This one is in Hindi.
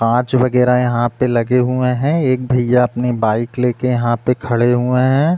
कांच वगेरा यहाँ पे लगे हुये हैं। एक भैया अपनी बाइक लेके यहाँ पे खड़े हुए हैं।